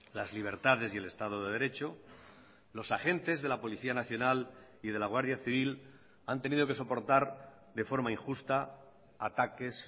las libertades y el estado de derecho los agentes de la policía nacional y de la guardia civil han tenido que soportar de forma injusta ataques